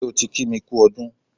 Ṣé o ti kí mi kú ọdún?